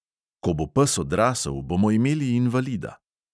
Ko bo pes odrasel, bomo imeli invalida.